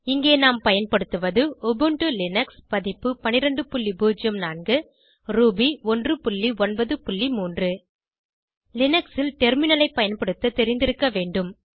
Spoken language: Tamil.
இங்கே நாம் பயன்படுத்துவது உபுண்டு லினக்ஸ் பதிப்பு 1204 ரூபி 193 லினக்ஸ் ல் டெர்மினல் ஐ பயன்படுத்த தெரிந்திருக்க வேண்டும்